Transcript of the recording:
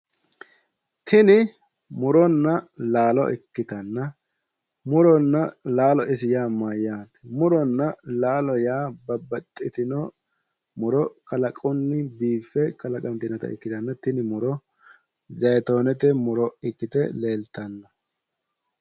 tini muronna laalo ikkitanna muronna laalo yaa isi mayyaate? muronna laalo yaa babaxitinota kalaqunni biiffe kalaqantinota ikkitanna tini muro zayiitoonete muro ikkite leeltanna.